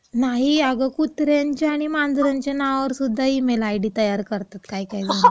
नाही अगं, कुत्र्यांच्या आणि मांजरांच्या नावावर सुद्धा ईमेल आयडी तयार करतात काही काही जण.